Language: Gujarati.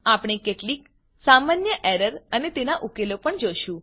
આપણે કેટલીક સામાન્ય એરર અને તેના ઉકેલો પણ જોશું